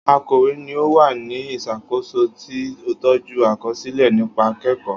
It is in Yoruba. Akọ̀wé ni ó wà ní ìṣàkóso tí tọ́jú àkọsílẹ̀ nípa akẹ́kọ̀ọ́